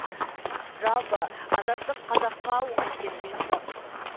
жалпы азаттық қазаққа оңай келген жоқ